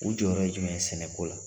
U jɔyɔrɔ ye jumɛn sɛnɛko la